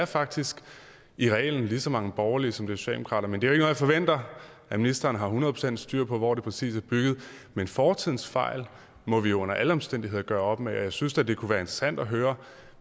faktisk i reglen lige så mange borgerlige som socialdemokrater men det er jo jeg forventer at ministeren har hundrede procent styr på altså hvor det præcist er bygget men fortidens fejl må vi under alle omstændigheder gøre op med og jeg synes da at det kunne være interessant at høre